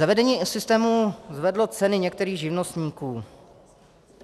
Zavedení systému zvedlo ceny některých živnostníků.